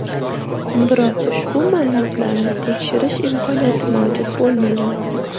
Biroq ushbu ma’lumotlarni tekshirish imkoniyati mavjud bo‘lmagan.